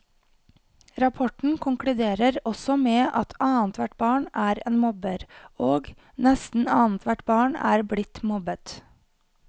Rapporten konkluderer også med at annethvert barn er en mobber, og nesten annethvert barn er blitt mobbet.